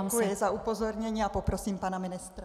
Děkuji za upozornění a poprosím pana ministra.